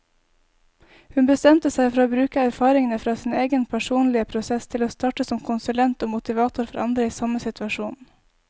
Hun bestemte seg for å bruke erfaringene fra sin egen personlige prosess til å starte som konsulent og motivator for andre i samme situasjon.